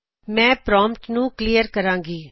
ਮੈਂ ਪ੍ਰਾਮਪਟ ਨੂੰ ਕਲੀਅਰ ਕਰਾਣ ਗੀ